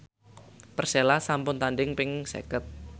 Persela sampun tandhing ping seket